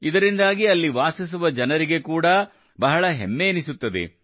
ಇದರಿಂದಾಗಿ ಅಲ್ಲಿ ವಾಸಿಸುವ ಜನರಿಗೆ ಕೂಡಾ ಬಹಳ ಹೆಮ್ಮೆ ಎನಿಸುತ್ತದೆ